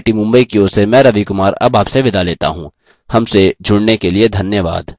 यह स्क्रिप्ट लता द्वारा अनुवादित है आई आई टी मुंबई की ओर से मैं रवि कुमार अब आपसे विदा लेता हूँ